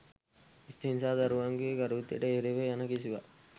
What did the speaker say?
ස්ත්‍රීන් සහ දරුවන්ගේ ගරුත්වයට එරෙහිව යන කිසිවක්